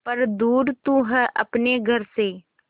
पर दूर तू है अपने घर से